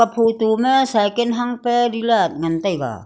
photo ma cycan hang pa dealad ngantaiga.